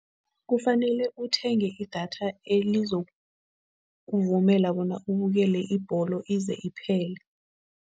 Kufanele uthenge idatha elizokuvumela bona ubukele ibholo ize iphelile.